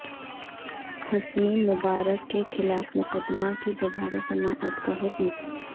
Hasani Mubarak کے خلاف مقدمہ کی دوبارہ سماعت کا حکم